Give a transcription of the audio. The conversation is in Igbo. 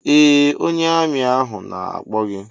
Ee ónyé armi ahụ na-akpọ gị.